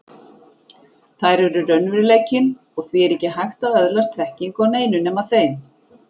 Þær eru raunveruleikinn, og því er ekki hægt að öðlast þekkingu á neinu nema þeim.